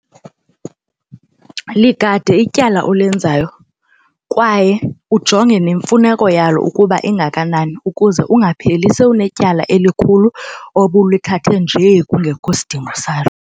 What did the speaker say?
Ligade ityala olenzayo kwaye ujonge nemfuneko yalo ukuba ingakanani ukuze ungapheli sowunetyala elikhulu obulithathe njee kungekho sidingo salo.